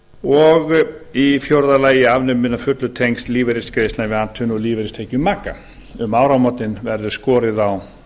og í fjórða lagi afnumin að fullu tengsl lífeyrisgreiðslna við atvinnu og lífeyristekjur maka um áramótin verður skorið á